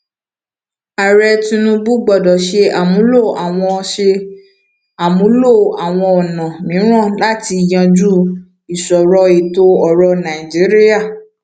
ààrẹ tinubu gbọdọ ṣe àmúlò àwọn ṣe àmúlò àwọn ọnà mìíràn láti yanjú ìṣòro ètò orò nàìjíríà